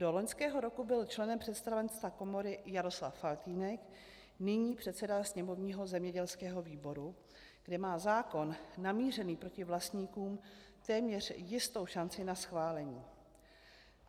Do loňského roku byl členem představenstva komory Jaroslav Faltýnek, nyní předseda sněmovního zemědělského výboru, kde má zákon namířený proti vlastníkům téměř jistou šanci na schválení.